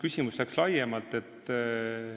Küsimus läks laiemaks.